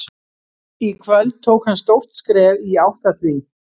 Í kvöld tók hann stórt skref í átt að því.